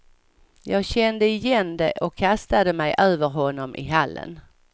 Jag kände igen det och kastade mig över honom i hallen.